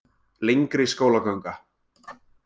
Lengri skólaganga